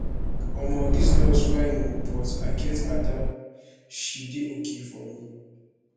omo dis girls fine ooo but i get ada she dey okay for me